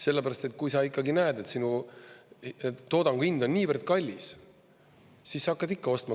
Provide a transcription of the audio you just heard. Sellepärast, et kui sa ikkagi näed, et sinu toodangu hind on niivõrd kallis, siis sa hakkad ikka ostma.